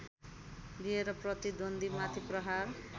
लिएर प्रतिद्वन्द्वीमाथि प्रहार